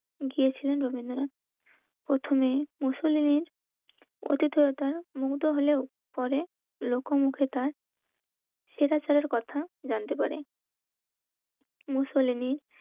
আক্রমণে ইতালি সর্ষে গিয়েছিলেন রবীন্দ্রনাথ প্রথমে মুসুলিনের কথিততার মুগ্ধ হলেও পরে লোকমুখে তার সেটা ছাড়ার কথা জানতে পারে